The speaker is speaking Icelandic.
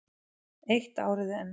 Eitt árið enn.